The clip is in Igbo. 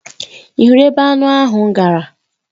Ị hụrụ ebe anụ ahụ gara?